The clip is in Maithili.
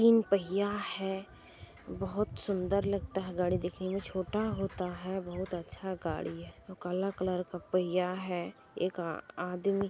तीन पहिया है बहुत अच्छा दिखता है गाड़ी दिखने में छोटा होता है बहुत अच्छा गाड़ी है और काला कलर का पैहया है एक आदमी---